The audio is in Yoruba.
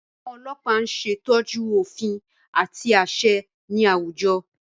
Àwọn ọlọpa ñ ṣetọju òfin àti aṣẹ ní awújọ